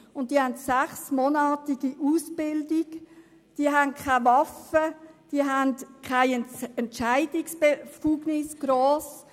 Diese absolvieren eine sechsmonatige Ausbildung, sie haben keine Waffe und keine grossen Entscheidungsbefugnisse.